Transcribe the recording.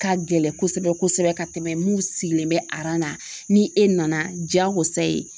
Ka gɛlɛn kosɛbɛ kosɛbɛ ka tɛmɛ mun sigilen bɛ na ni e nana diyagosa ye